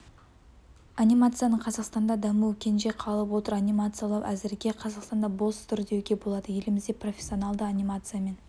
анимацияның қазақстанда дамуы кенже қалып отыр анимациялау әзірге қазақстанда бос тұр деуге болады елімізде профессионалды анимациямен